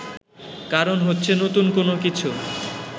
কারণ হচ্ছে নতুন কোনো কিছু